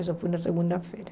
Isso foi na segunda-feira.